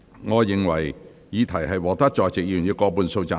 我認為議題獲得在席議員以過半數贊成。